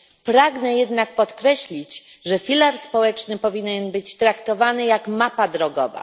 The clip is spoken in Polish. Pragnę jednak podkreślić, że filar społeczny powinien być traktowany jak mapa drogowa.